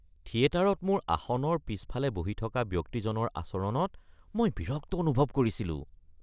থিয়েটাৰত মোৰ আসনৰ পিছফালে বহি থকা ব্যক্তিজনৰ আচৰণত মই বিৰক্ত অনুভৱ কৰিছিলো।